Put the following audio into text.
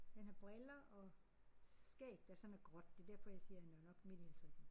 Han har briller og skæg der sådan er gråt det derfor jeg siger han er nok midt i halvtredserne